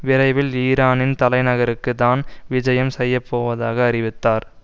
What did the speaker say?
விரைவில் ஈரானின் தலைநகருக்கு தான் விஜயம் செய்ய போவதாக அறிவித்தார்